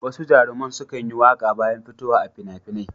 Wasu jaruman sukan yi waƙa bayan fitowa a fina-finai.